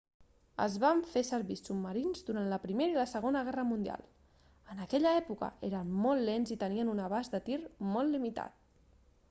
es van fer servir submarins durant la primera i la segona guerra mundial en aquella època eren molt lents i tenien un abast de tir molt limitat